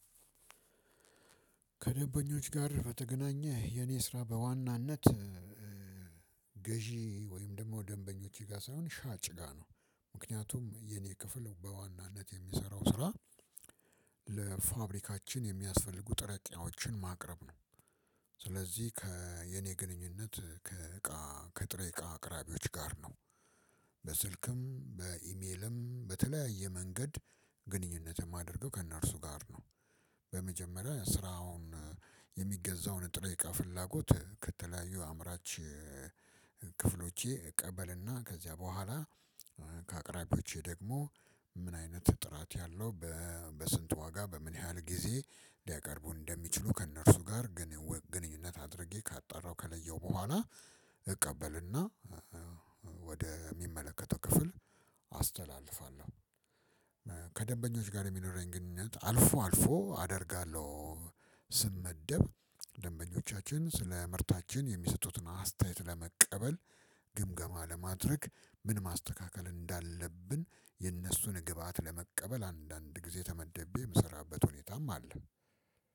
ከደበኞች ጋር በተገናኘ የኔ ስራ በዋናነት- ገዢ ወይም ደግሞ ደንበኞቼ ጋር ሳይሆን ሻጭ ጋር ነው። ምክንያቱም የኔ ክፍል በዋናነት የሚሰራው ስራ ለፋብሪካችን የሚያስፈልጉ ጥሬ እቃዎችን ማቅረብ ነው። ስለዚህ ከየኔ ግንኙነት ከጥሬ እቃ አቅራቢዎች ጋር ነው። በስልክም በኢሜልም በተለያየ መንገድ ግንኙነት የማድርገው ከእነርሱ ጋር ነው። በመጀመሪያ ስራውን የሚገዛውን ጥሬ እቃ ፍላጎት ከተለያዩ አምራች ክፍሎቼ እቀበልና ከዚያ በኋላ ከአቅራቢዎቼ ደግሞ ምን አይነት ጥራት ያለው- በስንት ዋጋ በምን ያህል ጊዜ ሊያቀርቡ እንደሚችሉ ከእነርሱ ጋር ግንኙነት አድርጌ ካጣረው ከለየው በኋላ- እቀበልና ወደ የሚመለከተው ክፍል አስተላልፋለሁ። ከደበኞች ጋር የሚኖረኝ ግንኙነት አልፎ አልፎ አደርጋለሁ። ስመደብ ደንበኞቻችን ስለ ምርታችን የሚሰጡትን አስተያየት ለመቀበል ግምገማ ለማድረግ ምን ማስተካከል እንዳለብን የነሱን ግብአት ለመቀበል አንዳንድ ጊዜ ተመደቤ የምሰራበት ሁኔታም አለ።